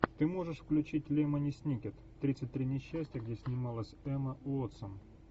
ты можешь включить лемони сникет тридцать три несчастья где снималась эмма уотсон